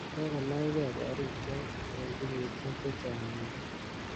Kikonaikei korik chok eng kenyishek chechang missing.